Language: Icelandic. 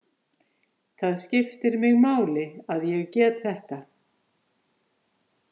Það skiptir mig máli að ég get þetta.